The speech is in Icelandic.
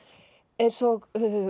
eins og